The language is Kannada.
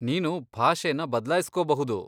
ನೀನು ಭಾಷೆನ ಬದ್ಲಾಯ್ಸ್ಕೋಬಹುದು.